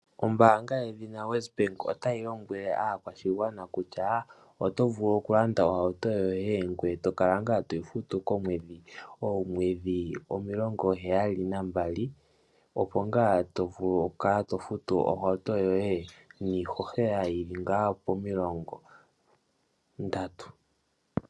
Ombaanga yedhina Wesbank otayi lombwele aakwashigwana kutya oto vulu oku landa ohauto yoye ngweye tokala ngaa toyi futu komwedhi. Oomwedhi omilongo heyali nambali opo ngaa to vulu okukala to futu ohauto yoye niihohela yili ngaa pomilongo ndatu.